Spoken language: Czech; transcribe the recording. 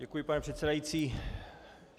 Děkuji, pane předsedající.